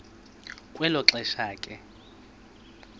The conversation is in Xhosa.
kwelo xesha ke